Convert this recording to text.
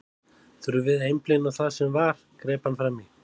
Þurfum við að einblína á það sem var, greip hann fram í.